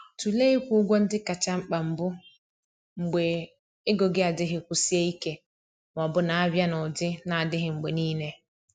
Tụlee ịkwụ ụgwọ ndị kacha mkpa mbụ mgbe ego gị adịghị kwụsie ike ma ọ bụ na-abịa n’ụdị na-adịghị mgbe niile.